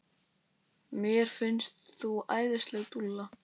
Mér finnst þú æðisleg dúlla!